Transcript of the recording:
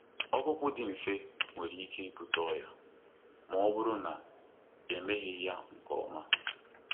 Ọkpụkpọ dị mfe nwere ike ibute ọrịa ma ọ bụrụ na emeghị ya nke ọma.